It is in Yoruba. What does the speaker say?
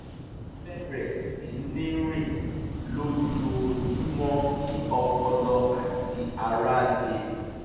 ó bẹ̀rẹ̀ sí ní rìn lójóojúmọ́ kí ọpọlọ àti ara le